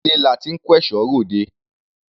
Ilé la ti ń kẹ́ṣọ̀ọ́ ròde.